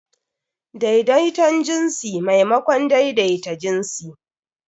Daidaiton jinsi maimakon daidaita jinsi.